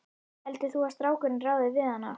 Heldur þú að strákurinn ráði við hana?